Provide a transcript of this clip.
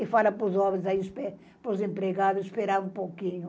E fala para os homens aí, espe, para os empregados, esperar um pouquinho.